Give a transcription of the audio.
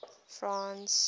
france